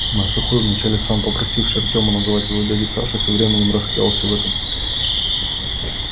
ну а сухой вначале сам попросивший артёма называть его дядей сашей со временем раскаялся в этом